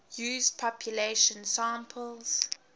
used population samples